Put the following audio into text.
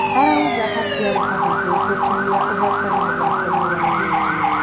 Arauga hatiarĩ hahũthũ gũkinyĩra ũhotani mũthakoinĩ wa vindio.